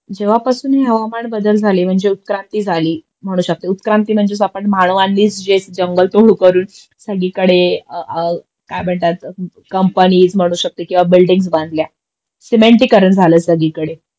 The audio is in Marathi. जेव्हापासून हे हवामान बदल झाले म्हणजे उत्क्रांती झाली म्हणू शकते उत्क्रांती म्हणजेच आपण मानवानीच जे जंगल तोड करून सगळीकडे काय म्हणता कंपनीज किंवा बिल्डींग्स बांधल्या सिमेंटीकरण झालं सगळीकडे